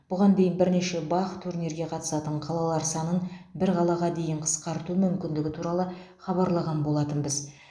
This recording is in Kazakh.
бұған дейін бірнеше бақ турнирге қатысатын қалалар санын бір қалаға дейін қысқарту мүмкіндігі туралы хабарлаған болатынбіз